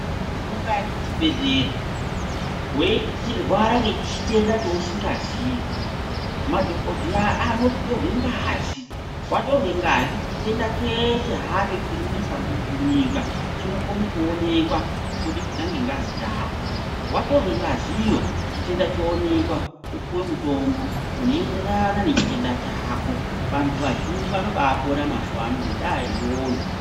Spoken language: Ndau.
Ukaende kuchibhedhlera wechirwara ngechitenda chausingazii madhokodheya anoti torwe ngazi. Watorwe ngazi chitenda chese hacho chinonesa munyika chinokone kuonekwa kubudikidza ngengazi yako. Watorwe ngaziyo chitenda choonekwa wopuwe mutombo unoenderana nechitenda chako. vanthu vazhinji vanobaapona mazuwano ngendaa iyoyo.